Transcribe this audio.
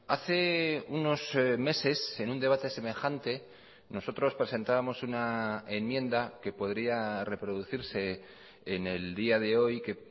hace unos meses en un debate semejante nosotros presentábamos una enmienda que podría reproducirse en el día de hoy que